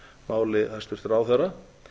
máli hæstvirts ráðherra